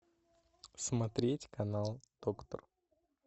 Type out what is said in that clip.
смотреть канал доктор